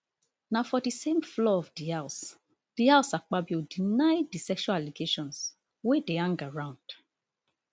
na for di same floor of di house di house akpabio deny di sexual allegations wey dey hang around